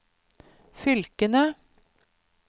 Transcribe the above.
fylkene